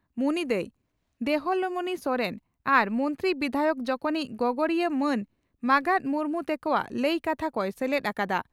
ᱢᱩᱱᱤ ᱫᱟᱹᱭ (ᱫᱮᱞᱦᱚᱢᱚᱬᱤ ᱥᱚᱨᱮᱱ) ᱟᱨ ᱢᱚᱱᱛᱨᱤ/ᱵᱤᱫᱷᱟᱭᱚᱠ ᱡᱚᱠᱷᱚᱱᱤᱡ ᱜᱚᱜᱚᱲᱤᱭᱟᱹ ᱢᱟᱱ ᱢᱟᱜᱟᱛ ᱢᱩᱨᱢᱩ ᱛᱮᱠᱚᱣᱟᱜ ᱞᱟᱹᱭ ᱠᱟᱛᱷᱟ ᱠᱚᱭ ᱥᱮᱞᱮᱫ ᱟᱠᱟᱫ ᱼᱟ ᱾